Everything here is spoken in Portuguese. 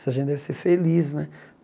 Essa gente deve ser feliz, né?